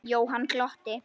Jóhann glotti.